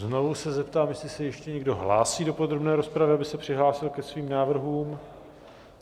Znovu se zeptám, jestli se ještě někdo hlásí do podrobné rozpravy, aby se přihlásil ke svým návrhům.